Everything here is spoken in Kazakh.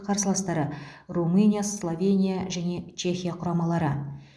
қарсыластары румыния словения және чехия құрамалары